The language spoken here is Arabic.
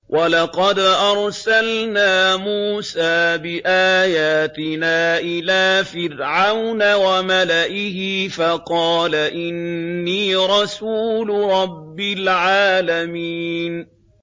وَلَقَدْ أَرْسَلْنَا مُوسَىٰ بِآيَاتِنَا إِلَىٰ فِرْعَوْنَ وَمَلَئِهِ فَقَالَ إِنِّي رَسُولُ رَبِّ الْعَالَمِينَ